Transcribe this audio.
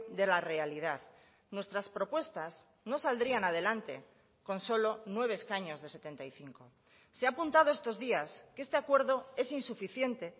de la realidad nuestras propuestas no saldrían adelante con solo nueve escaños de setenta y cinco se ha apuntado estos días que este acuerdo es insuficiente